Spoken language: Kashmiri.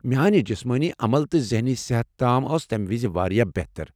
میانہِ جسمٲنی عمل تہٕ ذہنی صحت تام ٲس تمہِ وِزِ بہتر۔